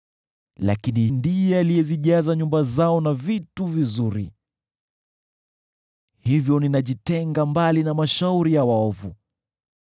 Lakini ndiye alizijaza nyumba zao na vitu vizuri, hivyo ninajitenga mbali na mashauri ya waovu.